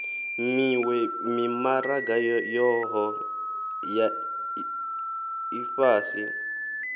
miwe mimaraga yohe ya ifhasi